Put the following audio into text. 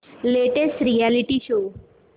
latest reality show